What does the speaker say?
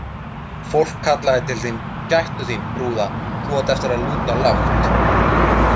Fólk kallaði til þín: Gættu þín, brúða, þú átt eftir að lúta lágt.